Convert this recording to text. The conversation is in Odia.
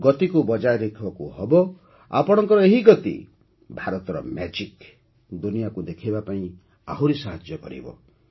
ଗତିକୁ ବଜାୟ ରଖିବାକୁ ହେବ ଆପଣଙ୍କ ଏହି ଗତି ଭାରତର ମ୍ୟାଜିକ୍ ଦୁନିଆକୁ ଦେଖାଇବାରେ ସାହାଯ୍ୟ କରିବ